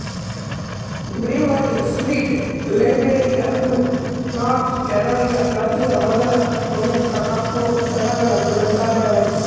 Brevard street ಲೈಬ್ರರಿಯು North Carolina ರಾಜ್ಯದ ಮೊದಲ ಮುಕ್ತ ಕಪ್ಪು ಜನಗಳ ಗ್ರಂಥಾಲಯವಾಯಿತು